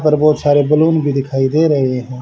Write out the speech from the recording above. और बहुत सारे बैलून भी दिखाई दे रहे हैं।